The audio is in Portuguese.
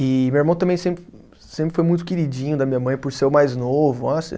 E meu irmão também sempre, sempre foi muito queridinho da minha mãe, por ser o mais novo.